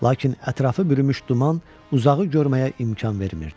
Lakin ətrafı bürümüş duman uzağı görməyə imkan vermirdi.